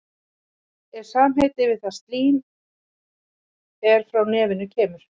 Mara er samgermanskt orð, það er til í flestum germönskum málum.